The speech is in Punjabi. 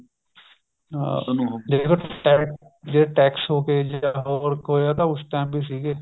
ਹਾਂ ਤੁਹਾਨੂੰ ਦੇਖਦਾ ਜੇ ਜੇ tax ਹੋ ਗਏ ਜਿਹੜਾ ਹੋਰ ਕੋਈ ਏ ਤਾਂ ਉਸ time ਵੀ ਸੀਗੇ